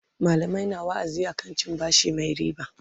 mallamai na wa'azi akan cin bashi Mai ribaa